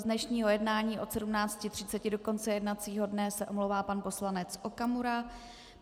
Z dnešního jednání od 17.30 do konce jednacího dne se omlouvá pan poslanec Okamura.